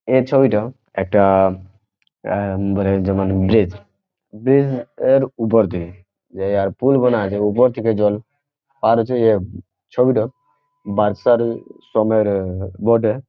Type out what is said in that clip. এ ছবিটা একটা এ এ মানে যেমন ব্রিজ ব্রিজ -এর উপর দিয়ে যে পুল বানা আছে উপর থেকে জল আর হচ্ছে ছবিটা বর্ষার সময় বটে।